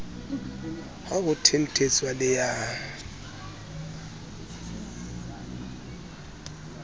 ha ho thenthetswa le a